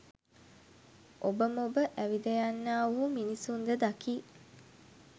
ඔබ මොබ ඇවිදයන්නා වූ මිනිසුන්ද දකී